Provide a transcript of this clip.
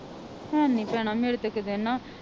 ਹੈ ਨੀ ਭੈਣਾਂ ਮੇਰੇ ਤੇ ਇਕ ਦਿਨ ਨਾ